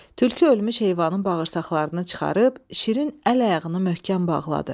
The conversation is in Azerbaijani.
Tülkü ölmüş heyvanın bağırsaqlarını çıxarıb, şirin əl-ayağını möhkəm bağladı.